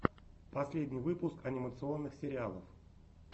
последний выпуск анимационных сериалов